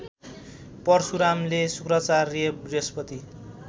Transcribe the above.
परशुरामले शुक्राचार्य बृहस्पति